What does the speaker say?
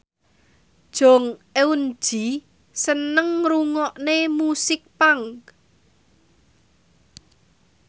Jong Eun Ji seneng ngrungokne musik punk